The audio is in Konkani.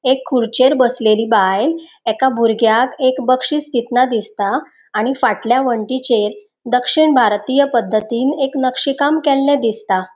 एक खुर्चेर बसलेली बायल एका बुरग्याक एक बक्षीस दितना दिसता आणि फाटल्या वनटीचेर दक्षिण भारतीय पद्दतीन एक नक्षी काम केल्ले दिसता.